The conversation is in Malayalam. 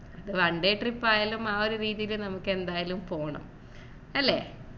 അത് one day trip ആയാലും ആ ഒരു രീതിയിൽ നമുക്ക് എന്തായാലും പോണം അല്ലേ